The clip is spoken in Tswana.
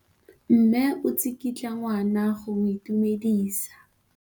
Mme o tsikitla ngwana go mo itumedisa.